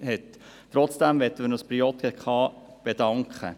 Doch möchten wir uns bei der JGK bedanken.